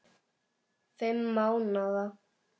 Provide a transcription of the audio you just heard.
Fimm mánaða